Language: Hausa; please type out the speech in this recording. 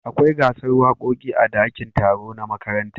Akwai gasar wakoki a dakin taro na makaranta